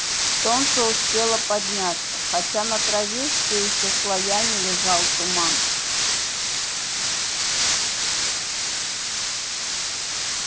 солнце успело подняться хотя на траве все ещё слоями лежал туман